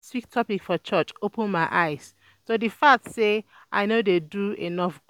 last week topic for church open my eyes to the fact say I no dey do enough good